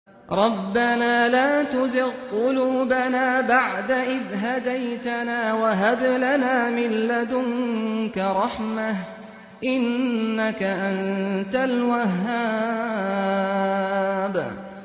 رَبَّنَا لَا تُزِغْ قُلُوبَنَا بَعْدَ إِذْ هَدَيْتَنَا وَهَبْ لَنَا مِن لَّدُنكَ رَحْمَةً ۚ إِنَّكَ أَنتَ الْوَهَّابُ